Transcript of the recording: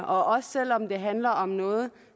også selv om det handler om noget